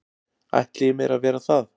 ætli ég mér að vera það.